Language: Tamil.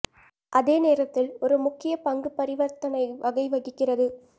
அதே நேரத்தில் ஒரு முக்கிய பங்கு பரிவர்த்தனை வகை வகிக்கிறது